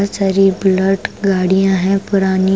बहुत सारी बुलट गाड़ियां हैं पुरानी--